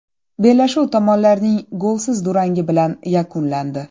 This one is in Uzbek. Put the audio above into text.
Bellashuv tomonlarning golsiz durangi bilan yakunlandi.